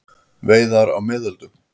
Veiðar á miðöldum.